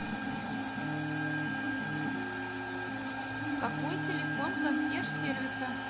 какой телефон консьерж сервиса